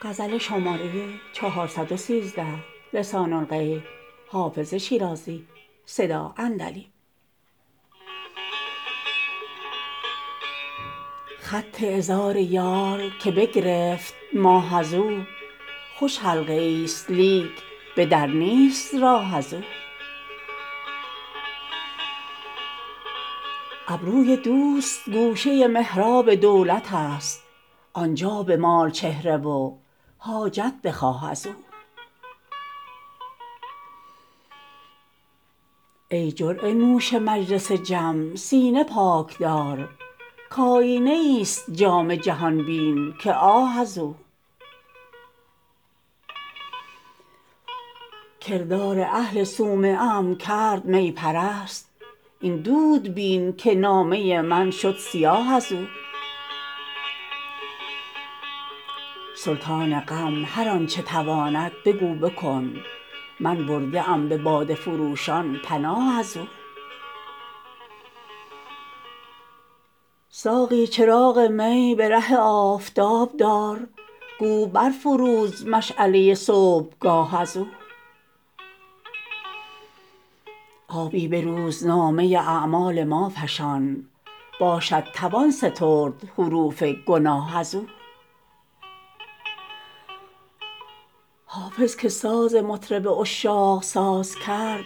خط عذار یار که بگرفت ماه از او خوش حلقه ای ست لیک به در نیست راه از او ابروی دوست گوشه محراب دولت است آن جا بمال چهره و حاجت بخواه از او ای جرعه نوش مجلس جم سینه پاک دار کآیینه ای ست جام جهان بین که آه از او کردار اهل صومعه ام کرد می پرست این دود بین که نامه من شد سیاه از او سلطان غم هر آن چه تواند بگو بکن من برده ام به باده فروشان پناه از او ساقی چراغ می به ره آفتاب دار گو بر فروز مشعله صبحگاه از او آبی به روزنامه اعمال ما فشان باشد توان سترد حروف گناه از او حافظ که ساز مطرب عشاق ساز کرد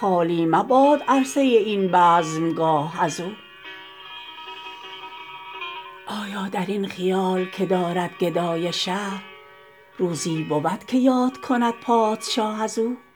خالی مباد عرصه این بزمگاه از او آیا در این خیال که دارد گدای شهر روزی بود که یاد کند پادشاه از او